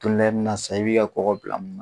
Dondɔ la i bina sa i bi ka kɔgɔ bila mun na?